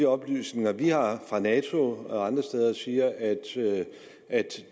oplysninger vi har fra nato og andre steder siger at